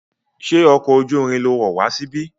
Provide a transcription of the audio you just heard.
Ṣé ọkọ̀ ojú irin lo wọ̀ wá síbí?